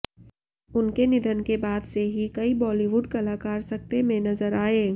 उनके निधन के बाद से ही कई बॉलीवुड कलाकार सकते में नजर आए